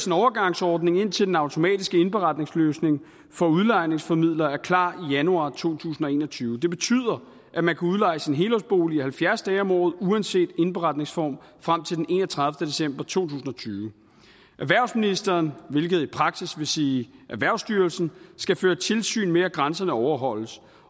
en overgangsordning indtil den automatiske indberetningsløsning for udlejningsformidlere er klar i januar to tusind og en og tyve det betyder at man kan udleje sin helårsbolig i halvfjerds dage om året uanset indberetningsform frem til den enogtredivete december to tusind og tyve erhvervsministeren hvilket i praksis vil sige erhvervsstyrelsen skal føre tilsyn med at grænserne overholdes